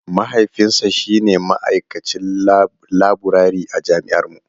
Mahaifinsa shi ne ma'aikacin laburare a jami'ar mu.